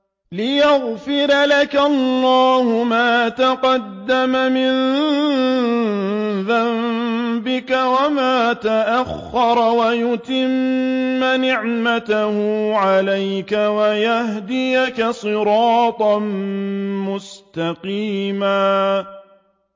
لِّيَغْفِرَ لَكَ اللَّهُ مَا تَقَدَّمَ مِن ذَنبِكَ وَمَا تَأَخَّرَ وَيُتِمَّ نِعْمَتَهُ عَلَيْكَ وَيَهْدِيَكَ صِرَاطًا مُّسْتَقِيمًا